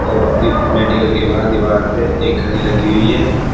और मेडिकल के बाहर दीवार पे एक घड़ी लगी हुई है।